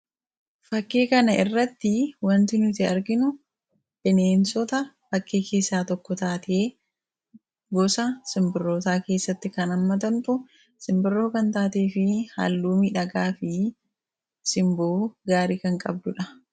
Fakii kana irratti wanti nuti arginu, bineensota fakii keessaa tokko taate gosa simbirrootaa keessatti kan ammatamtu, simbirroo kan taatee fi haalluu miidhagaa fi simboo gaarii kan qabdudha.